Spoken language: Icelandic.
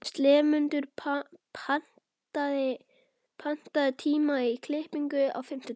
slefmundur, pantaðu tíma í klippingu á fimmtudaginn.